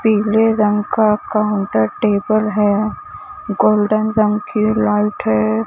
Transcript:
पीले रंग का काउंटर टेबल है गोल्डन रंग की लाइट है।